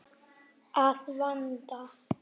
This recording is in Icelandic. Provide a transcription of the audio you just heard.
Að vanda.